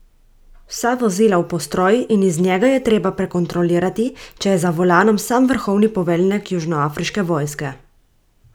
Vsa vozila v postroj in iz njega je treba prekontrolirati, pa če je za volanom sam vrhovni poveljnik južnoafriške vojske!